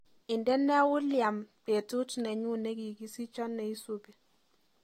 Indene uliam betut nenyu negigisicho neisubi